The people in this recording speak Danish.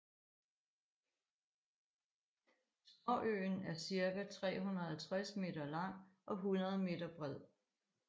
Småøen er cirka 350 meter lang og 100 meter bred